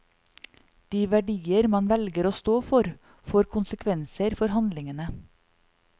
De verdier man velger å stå for, får konsekvenser for handlingene.